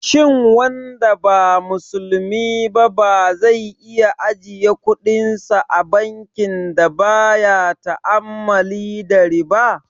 Shin wanda ba musulmi ba zai iya ajiye kudinsa a bankin da baya ta'ammali da riba?